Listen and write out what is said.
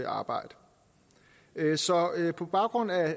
arbejde så på baggrund af